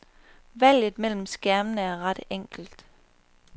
Valget mellem skærmene er ret enkelt.